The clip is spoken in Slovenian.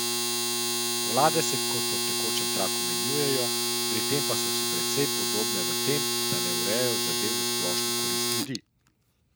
Vlade se kot po tekočem traku menjujejo, pri tem pa so si precej podobne v tem, da ne urejajo zadev v splošno korist ljudi.